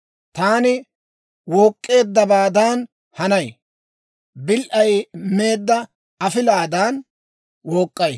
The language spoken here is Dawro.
Taani wook'k'eeddabaadan hanay; bil"ay meedda afilaadankka wook'k'ay.